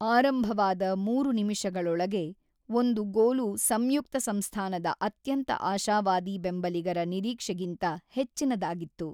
ಆರಂಭವಾದ ಮೂರು ನಿಮಿಷಗಳೊಳಗೆ ಒಂದು ಗೋಲು ಸಂಯುಕ್ತ ಸಂಸ್ಥಾನದ ಅತ್ಯಂತ ಆಶಾವಾದಿ ಬೆಂಬಲಿಗರ ನಿರೀಕ್ಷೆಗಿಂತ ಹೆಚ್ಚಿನದಾಗಿತ್ತು.